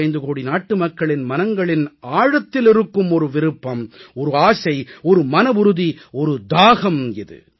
125 கோடி நாட்டு மக்களின் மனங்களின் ஆழத்தில் இருக்கும் விருப்பம் ஆசை மனவுறுதி தாகம் இது